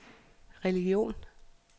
religion